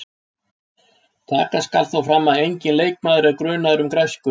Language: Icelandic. Taka skal þó fram að enginn leikmaður er grunaður um græsku.